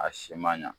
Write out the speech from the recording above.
A si ma ɲa